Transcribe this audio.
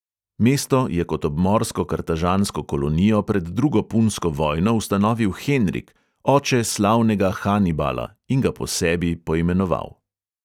Mesto je kot obmorsko kartažansko kolonijo pred drugo punsko vojno ustanovil henrik, oče slavnega hanibala, in ga po sebi poimenoval.